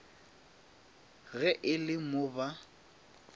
ge e le mo ba